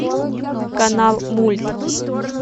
канал мульт